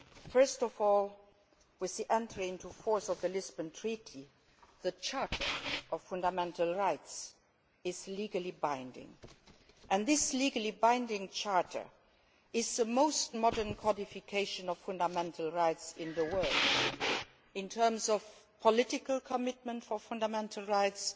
First of all, with the entry into force of the Lisbon Treaty, the Charter of Fundamental Rights is legally binding, and this legally binding charter is the most modern qualification of fundamental rights in the world in terms of political commitment for fundamental rights,